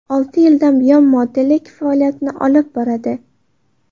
Olti yildan buyon modellik faoliyatini olib boradi.